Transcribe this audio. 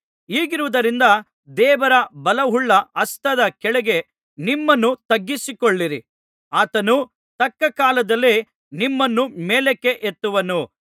ಹೀಗಿರುವುದರಿಂದ ದೇವರ ಬಲವುಳ್ಳ ಹಸ್ತದ ಕೆಳಗೆ ನಿಮ್ಮನ್ನು ತಗ್ಗಿಸಿಕೊಳ್ಳಿರಿ ಆತನು ತಕ್ಕ ಕಾಲದಲ್ಲಿ ನಿಮ್ಮನ್ನು ಮೇಲಕ್ಕೆ ಎತ್ತುವನು